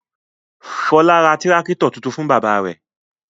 Fọlá ra tírákítọ̀ tuntun fún bàbá rẹ̀.